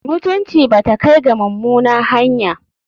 Mutunci ba ta kai ga mummuna hanya.